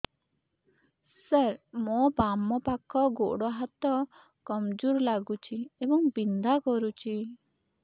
ସାର ମୋର ବାମ ପାଖ ଗୋଡ ହାତ କମଜୁର ଲାଗୁଛି ଏବଂ ବିନ୍ଧା କରୁଛି